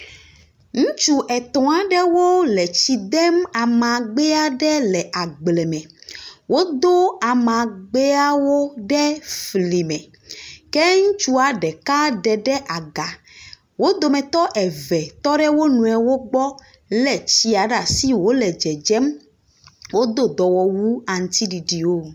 Ŋutsu etɔa aɖewo le etsi dem amagbea ɖewo le agble me. Wo do amagbeawo ɖe fli me. Ke ŋutsua ɖeka ɖe aga. Wo dometɔ eve tɔ ɖe wonɔewo gbɔ le tsia ɖe asi wolé dzedzem. Wò do dɔwɔwu aŋuti ɖiɖi wo.